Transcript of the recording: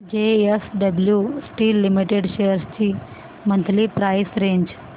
JSW steel limited shares ची monthly price range